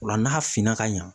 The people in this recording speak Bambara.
Ola n'a finna ka ɲa.